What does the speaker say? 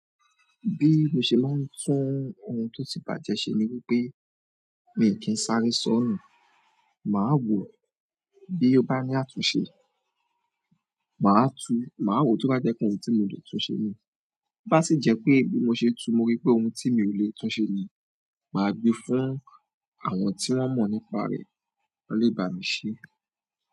Bí mo ṣe máa ń tún ohun tó ti bàjẹ́ ṣe ni wípé mi kì í sáré sọ́nùù, màá wò bí ó bá ní àtúnṣe, màá tu, màá wò tó bá jẹ́ pe óhun tí mo lè túnṣe níì. To bá sì jẹ́ pé bí mo ṣe tu mo rí pé òun tí mi ò lè túnṣe ni, màá gbe fún àwọn tí wón mọ̀ nípa rẹ, wón lè bá mi ṣe.